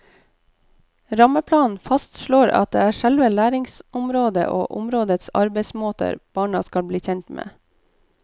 Rammeplanen fastslår at det er selve læringsområdet og områdets arbeidsmåter barna skal bli kjent med.